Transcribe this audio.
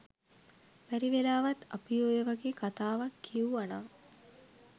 බැරිවෙලාවත් අපි ඔය වගේ කතාවක් කිව්ව නම්